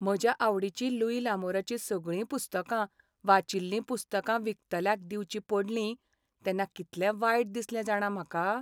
म्हज्या आवडीचीं लुई लामोराचीं सगळीं पुस्तकां, वाचिल्लीं पुस्तकां विकतल्याक दिवचीं पडलीं तेन्ना कितलें वायट दिसलें जाणा म्हाका.